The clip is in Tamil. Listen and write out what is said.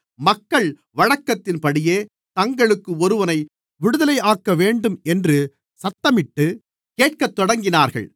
மக்கள் வழக்கத்தின்படியே தங்களுக்கு ஒருவனை விடுதலையாக்கவேண்டும் என்று சத்தமிட்டுக் கேட்கத்தொடங்கினார்கள்